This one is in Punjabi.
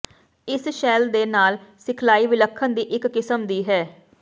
ਇਸ ਸ਼ੈੱਲ ਦੇ ਨਾਲ ਸਿਖਲਾਈ ਵਿਲੱਖਣ ਦੀ ਇੱਕ ਕਿਸਮ ਦੀ ਹੈ